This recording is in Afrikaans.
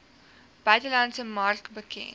buitelandse mark bekend